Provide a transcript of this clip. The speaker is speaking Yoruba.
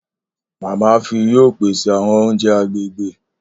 Mama fi yoo pese awọn ounjẹ agbegbe.